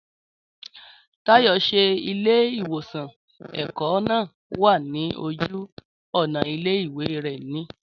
Táyò, ṣe ilé ìwòsan ẹ̀kọ́ náà wà ní ojú ònà ilé ìwé rẹ ní?